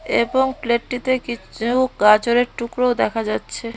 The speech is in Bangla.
এবং প্লেটটিতে কিছু গাজরের টুকরো দেখা যাচ্ছে।